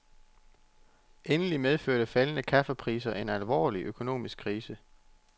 Endelig medførte faldende kaffepriser en alvorlig økonomisk krise.